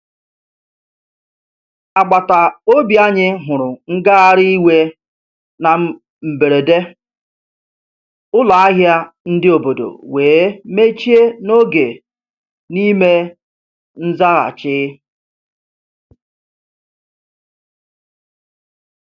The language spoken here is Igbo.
Agbata obi anyị huru ngagharị iwe na mberede, ụlọ ahịa ndi obodo wee mechie n'oge n'ime nzaghachi.